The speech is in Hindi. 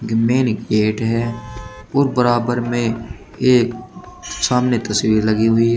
इनमें एक गेट है और बराबर में एक सामने तस्वीर लगी हुई है।